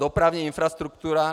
Dopravní infrastruktura...